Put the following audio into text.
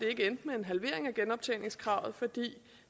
endte med en halvering af genoptjeningskravet fordi